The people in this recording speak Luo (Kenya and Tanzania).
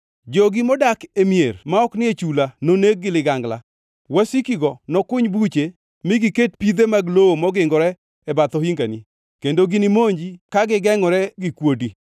Jogi modak e mier ma ok ni e chula noneg gi ligangla; wasikigo nokuny buche mi giket pidhe mag lowo mogingore e bath ohingani, kendo ginimonji ka gigengʼore gi kuodi.